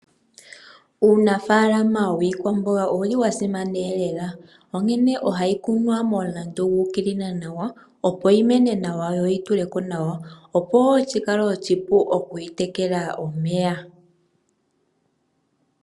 Uunafaalama wiikwamboga owa simana lela, onkene ohayi kunwa momulandu gu ukilila nawa, opo yi mene nawa yo yi tule ko nawa, opo wo shi kale oshipu okuyi tekela omeya.